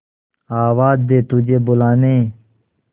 आवाज दे तुझे बुलाने